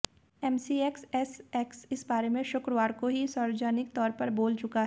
MCX SX इस बारे में शुक्रवार को ही सार्वजनिक तौर पर बोल चुका है